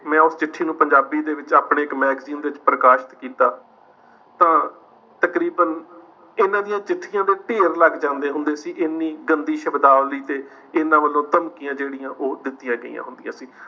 ਮੈਂ ਉਸ ਚਿੱਠੀ ਨੂੰ ਪੰਜਾਬੀ ਦੇ ਵਿੱਚ ਆਪਣੇ ਇੱਕ magazine ਵਿੱਚ ਪ੍ਰਕਾਸ਼ਿਤ ਕੀਤਾ, ਤਾਂ ਤਕਰੀਬਨ ਇਨ੍ਹਾਂ ਦੀਆਂ ਚਿੱਠੀਆਂ ਦੇ ਢੇਰ ਲੱਗ ਜਾਂਦੇ ਹੁੰਦੇ ਸੀ ਇਨੀ ਗੰਦੀ ਸ਼ਬਦਾਵਲੀ ਤੇ ਇਨ੍ਹਾਂ ਵਲੋਂ ਧਮਕੀਆਂ ਜਿਹੜੀਆਂ ਉਹ ਦਿਤੀਆਂ ਗਈਆਂ ਹੁੰਦੀਆਂ ਸੀ।